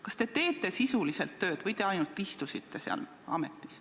Kas te teete sisuliselt tööd või te ainult istute seal ametis?